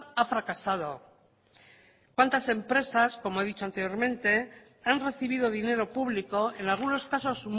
ha fracasado cuántas empresas como he dicho anteriormente han recibido dinero público en algunos casos